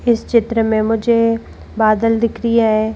इस चित्र में मुझे बादल दिख रिया है।